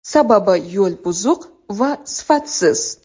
Sababi yo‘l buzuq va sifatsiz.